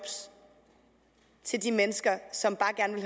til de mennesker som